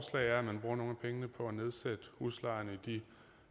er at man bruger nogle af pengene på at nedsætte huslejen i de